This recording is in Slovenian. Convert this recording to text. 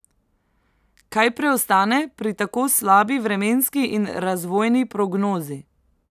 Kaj preostane pri tako slabi vremenski in razvojni prognozi?